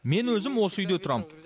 мен өзім осы үйде тұрам